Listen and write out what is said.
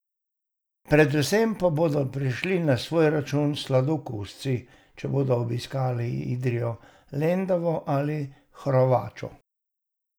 Predvsem pa bodo prišli na svoj račun sladokusci, če bodo obiskali Idrijo, Lendavo ali pa Hrovačo.